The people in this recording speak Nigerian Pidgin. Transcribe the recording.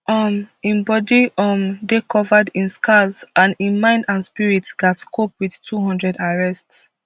um im body um dey covered in scars and im mind and spirit gatz cope wit two hundred arrests